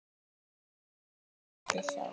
og sjö á landi þó.